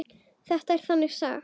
Þetta er þannig saga.